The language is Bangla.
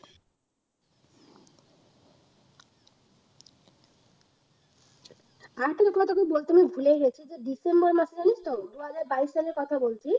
তোকে বলতে আমি ভুলেই গেছি যে december মাসে জানিস তো দু হাজার বাইশ সালের কথা বলছি